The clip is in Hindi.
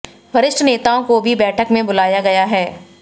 वरिष्ठ नेताओं को भी बैठक में बुलाया गया है